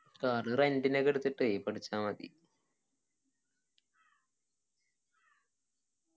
car rent നൊക്കെ എടുത്തിട്ട് പഠിച്ചാമതി